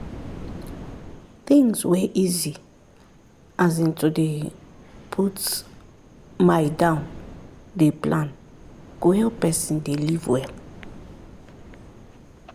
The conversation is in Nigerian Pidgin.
things wey easy as in to dey put my down dey plan go help person dey live well